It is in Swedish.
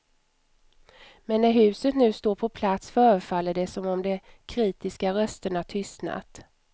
Men när huset nu står på plats förefaller det som om de kritiska rösterna tystnat.